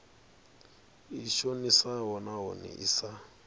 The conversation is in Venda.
i shonisaho nahone i sa